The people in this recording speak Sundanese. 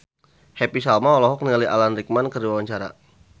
Happy Salma olohok ningali Alan Rickman keur diwawancara